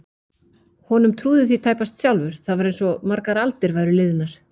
Honum trúði því tæpast sjálfur, það var einsog margar aldir væru liðnar.